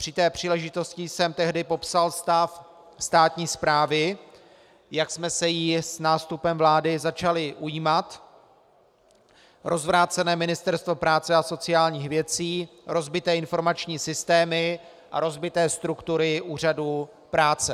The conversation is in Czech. Při té příležitosti jsem tehdy popsal stav státní správy, jak jsme se jí s nástupem vlády začali ujímat - rozvrácené Ministerstvo práce a sociálních věcí, rozbité informační systémy a rozbité struktury úřadů práce.